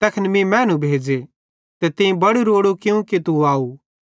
तैखन मीं मैनू भेज़े ते तीं बड़ू रोड़ू कियूं कि तू आव